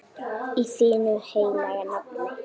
Í þínu heilaga nafni.